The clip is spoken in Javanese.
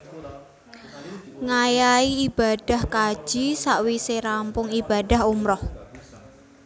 Ngayahi ibadah kaji sawisé rampung ibadah umrah